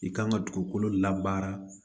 I kan ka dugukolo labaara